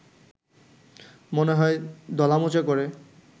মনে হয় দলামোচা করে